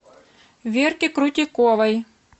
верки крутиковой